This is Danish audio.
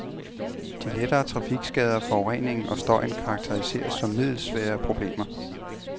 De lettere trafikskader, forureningen og støjen karakteriseres som middelsvære problemer.